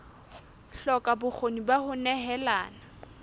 hloka bokgoni ba ho nehelana